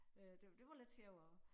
Øh det det var lidt sjovere